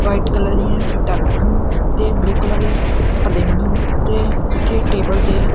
white colour ਦੀਆਂ ਟਾਈਲਾਂ ਹਨ ਤੇ ਬਲੂ ਕਲਰ ਦੇ ਪੜਦੇ ਹਨ ਤੇ ਉੱਥੇ ਟੇਬਲ ਤੇ--